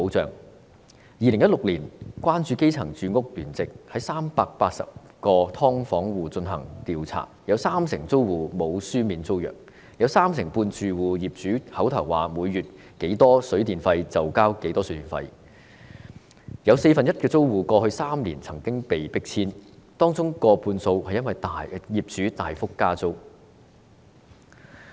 在2016年，關注基層住屋聯席對380個"劏房戶"進行調查，有三成租戶並無簽署書面租約；有三成半住戶由業主口頭說每月多少水電費，他們便繳交多少水電費；有四分之一的租戶過去3年曾被迫遷，當中過半數是因為業主大幅加租。